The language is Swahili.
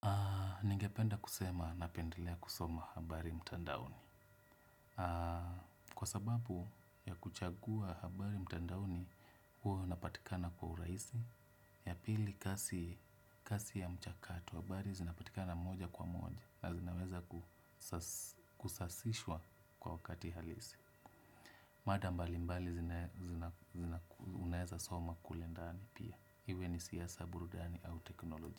Ningependa kusema napendelea kusoma habari mtandaoni. Kwa sababu ya kuchagua habari mtandaoni, huwa unapatikana kwa urahisi. Ya pili kasi ya mchakato habari zinapatikana moja kwa moja. Na zinaweza kusasishwa kwa wakati halisi. Mada mbali mbali zina unaeza soma kule ndani pia. Iwe ni siasa burudani au teknoloji.